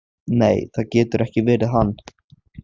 Nei, það getur ekki verið hann.